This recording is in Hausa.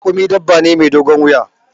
Raƙumi dabba ne mai dogon wuya.